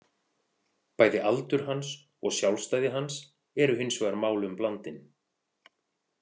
Bæði aldur hans og sjálfstæði hans eru hins vegar málum blandin.